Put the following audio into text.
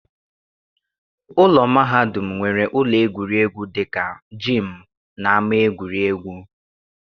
Ụlọ mahadum nwere ụlọ egwuregwu dị ka jiimu na ama egwuregwu.